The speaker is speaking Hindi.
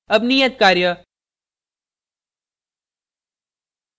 अब नियत कार्य